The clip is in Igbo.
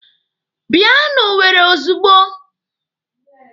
Bịa n'Owere ozugbo!